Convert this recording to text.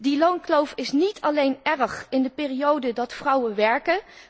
Die loonkloof is niet alleen erg voor de periode dat vrouwen werken